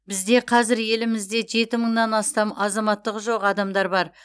бізде қазір елімізде жеті мыңнан астам азаматтығы жоқ адамдар бар